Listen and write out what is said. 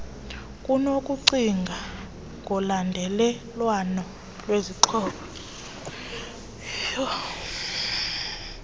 kunokucinga ngolandelelwano lwezixhobo